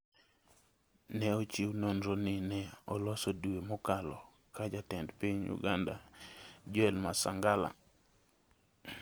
ne ochiw nonro ni ne oloso dwe mokalo ka Jatend piny Uganda, Joel Masangala